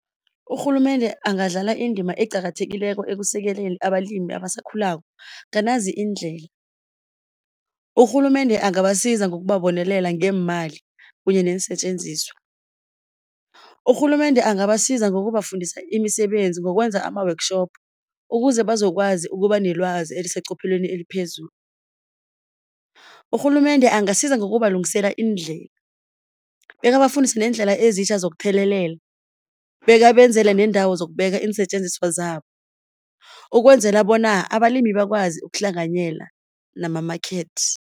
Urhulumende angadlala indima eqakathekileko ekusekeleni abalimi abasakhulako nganazi iindlela. Urhulumende angabasiza ngokubabonelela ngeemali kunye neensetjenziswa. Urhulumende angabasiza ngokubafundisa imisebenzi ngokwenza ama-workshop ukuze bazokwazi ukuba nelwazi eliseqophelweni eliphezulu. Urhulumende angasiza ngokubalungisela iindlela bekabafundise neendlela ezitjha zokuthelelela, bekabenzele neendawo zokubeka iinsetjenziswa zabo, ukwenzela bona abalimi bakwazi ukuhlanganyela nama-market.